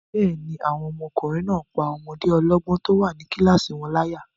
Bẹ́ẹ̀ni, àwọn ọmọkùnrin náà n pá ọmọdé ọlọ́gbọ́n tó wà ní kílásì wọn láyà